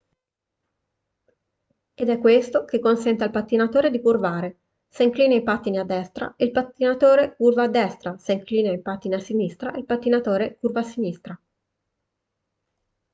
ed è questo che consente al pattinatore di curvare se inclina i pattini a destra il pattinatore curva a destra se inclina i pattini a sinistra il pattinatore curva a sinistra